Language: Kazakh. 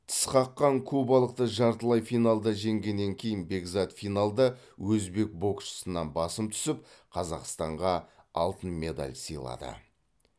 тісқаққан кубалықты жартылай финалда жеңгеннен кейін бекзат финалда өзбек боксшысынан басым түсіп қазақстанға алтын медаль сыйлады